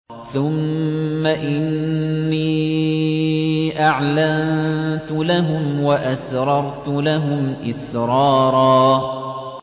ثُمَّ إِنِّي أَعْلَنتُ لَهُمْ وَأَسْرَرْتُ لَهُمْ إِسْرَارًا